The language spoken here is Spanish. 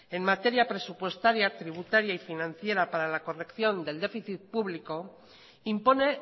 en materia presupuestaria tributaria y financiera para la corrección del déficit público impone